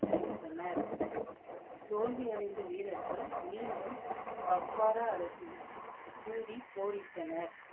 சென்றனர். தோல்வி அடைந்த வீரர்கள் மீண்டும் கக்வரா அரசின் கூறி கொரிட்டனர்.